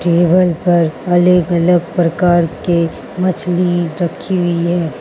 यहाँ पर अलग अलग प्रकार के मछली रखी हुई है।